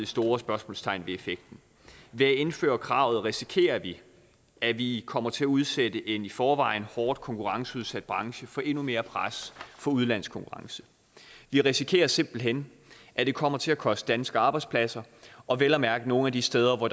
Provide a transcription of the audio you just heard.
store spørgsmålstegn ved effekten ved at indføre kravet risikerer vi at vi kommer til at udsætte en i forvejen hårdt konkurrenceudsat branche for endnu mere pres fra udenlandsk konkurrence vi risikerer simpelt hen at det kommer til at koste danske arbejdspladser og vel at mærke nogle af de steder hvor